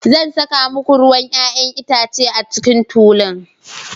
Zan saka muku ruwan 'ya'yan itace a cikin tulun.